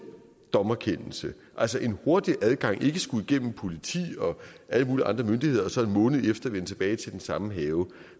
dommerkendelse altså en hurtig adgang så de ikke skulle igennem politi og alle mulige andre myndigheder og så en måned efter vende tilbage til den samme have